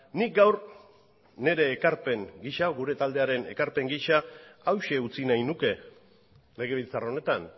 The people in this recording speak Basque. nik gaur nire ekarpen gisa gure taldearen ekarpen gisa hauxe utzi nahi nuke legebiltzar honetan